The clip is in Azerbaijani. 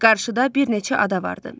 Qarşıda bir neçə ada vardı.